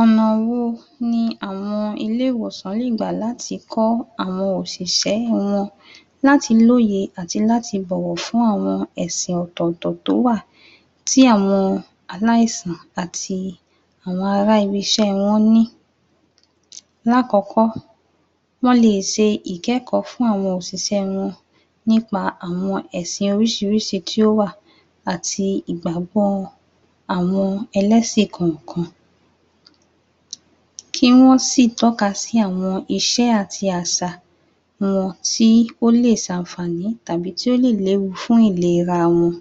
Ọ̀nà wo ni àwọn ilé ìwòsàn lè gbà láti kọ́ àwọn òṣìṣẹ́ wọn láti lóye, àti láti bọ̀wọ̀ fún àwọn ẹ̀sìn ọ̀tọ̀ọ̀tọ̀ tó wà ti àwọn aláìsàn àti àwọn ará ibi iṣẹ́ wọn ni. Lakọkọ wọ́n lè sẹ ìkẹkọọ fún àwọn òṣìṣẹ́ wọn nípa àwọn ẹ̀sìn oríṣirííṣi tí ó wà àti ìgbàgbọ́ àwọn ẹlẹ́sìn kọọkan. Kí wọ́n sì tọ́ka sí àwọn ìṣe àti àṣà wọn tí ó lè ṣànfààní, tàbí tí ó lè léwu fún ìlera wọn.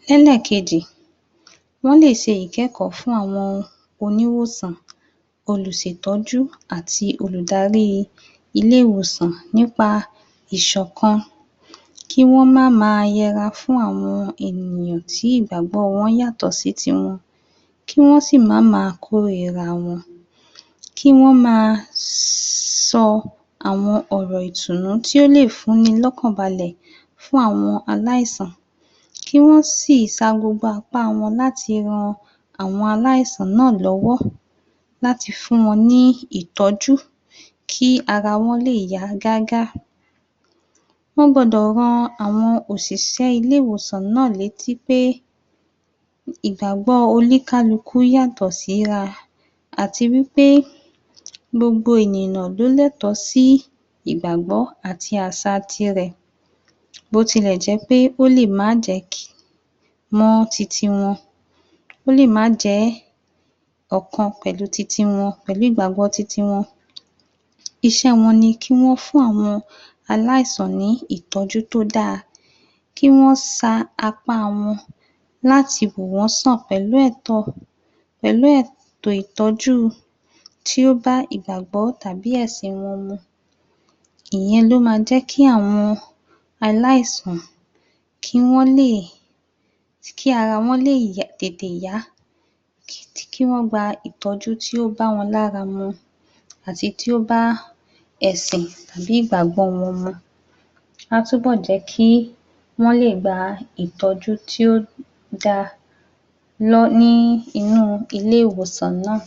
Ní elẹ́kejì wọ́n lè ṣe ìkẹkọọ fún àwọn oníwòsàn, olùṣètọ́jú àti olùdarí ilé ìwòsàn nípa ìṣọ̀kan, Kí wọ́n máá ma yẹra fún àwọn ènìyàn tí ìgbàgbọ wọn yàtọ̀ sí ti wọn, kí wọ́n sì máá ma kórira wọn. kí wọ́n maa sọ àwọn ọ̀rọ̀ ìtùnú tí o lè fún ní lọkán balẹ̀ fún áwọn aláìsàn kí wọ́n sì sa gbogbo apá wọn láti ran àwọn aláìsàn náà lọ́wọ́ láti fún wọn ní ìtọ́ju, kí ara wọn lè yá gágá. Wọ́n gbọ́dọ̀ rán àwọn òṣìṣẹ́ ilé ìwòsàn létí pé, ìgbàgbọ́ oníkálukú yàtọ̀ sí ra àti wípé gbogbo ènìyàn ló lẹtọ sí ìgbàgbọ́ àti àṣa tirẹ̀ bó ti lẹ̀ jẹ́ pé ó lè má jẹ́ mọ́ titi wọ́n. ó lè má jẹ́ ọ̀kan pẹ̀lú titi wọn, pẹ̀lú ìgbàgbọ́ titi wọn. Iṣẹ́ wọn ni kí wọ́n fún àwọn aláìsàn ní ìtọ́jú tó daa, kí wọ́n sa apá wọn láti wò wọ́n sàn pẹ̀lú ètò ,pẹ̀lú eto ìtọ́jú tí ó bá ìgbàgbó tàbí ẹ̀sìn wọn mu. Ìyẹn ló ma jẹ́ kị́ àwọn aláis̀àn kí wọ́n lè, kí ara wọn lè tètè yá, kí wọ́n gba ìtọ́jú tí ó bá wọn lára mu àti tí ó bá ẹ̀sìn tàbí ìgbàgbó wọn mu. Á túbọ̀ jẹ́ kí wọ́n lè gba ìtọ́jú tí ó daa ní inụ́ ilé ìwòsàn náà.